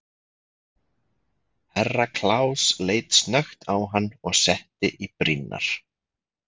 Herra Kláus leit snöggt á hann og setti í brýnnar.